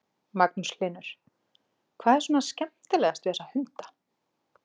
Magnús Hlynur: Hvað er svona skemmtilegast við þessa hunda?